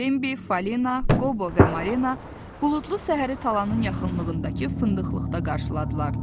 Bembi, Falina, Qobo və Marlena buludlu səhəri talanın yaxınlığındakı fındıqlıqda qarşıladılar.